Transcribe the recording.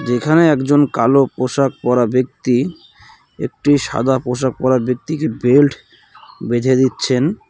যেখানে একজন কালো পোশাক পরা ব্যক্তি একটি সাদা পোশাক পরা ব্যক্তিকে বেল্ট বেঁধে দিচ্ছেন .